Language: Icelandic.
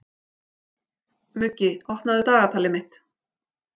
Muggi, opnaðu dagatalið mitt.